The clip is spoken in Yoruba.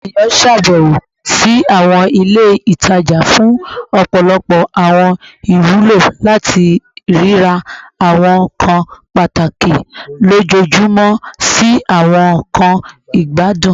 Awọn eniyan ṣabẹwo si awọn ile itaja fun ọpọlọpọ awọn iwulo, lati rira awọn nkan pataki lojoojumọ si awọn nkan igbadun